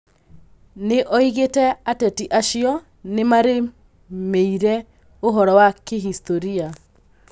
Nĩoigĩte ateti acio nĩmarĩmĩire ũhoro wa kĩhistoria